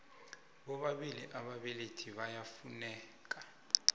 bobabili ababelethi iyafuneka